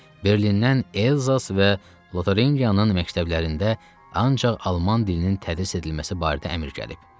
Berlindən Elzas və Lotaringiyanın məktəblərində ancaq alman dilinin tədris edilməsi barədə əmr gəlib.